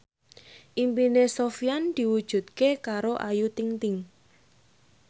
impine Sofyan diwujudke karo Ayu Ting ting